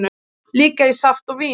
Líka í saft og vín.